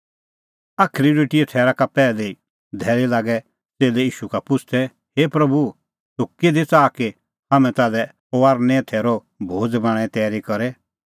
फसहे रोटीए थैरा का पैहली धैल़ी लागै च़ेल्लै ईशू का पुछ़दै हे प्रभू तूह किधी च़ाहा कि हाम्हैं ताल्है फसहे थैरे रोटी बणांणें तैरी करे